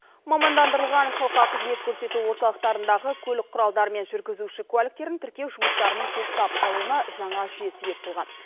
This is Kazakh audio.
мамандандырылған халыққа қызмет көрсету орталықтарындағы көлік құралдары мен жүргізуші куәліктерін тіркеу жұмыстарының тоқтап қалуына жаңа жүйе себеп болған